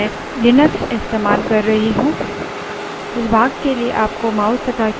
इस tutorial के लिए मैं लिनक्स इस्तेमाल कर रही हूँ